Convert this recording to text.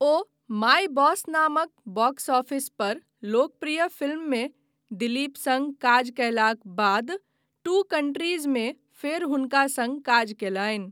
O my boss नामक box office पर लोकप्रिय फिल्ममे दिलीप सङ्ग काज कयलाक बाद टू कंट्रीजमे फेर हुनका सङ्ग काज कयलनि।